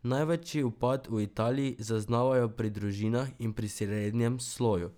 Največji upad v Italiji zaznavajo pri družinah in pri srednjem sloju.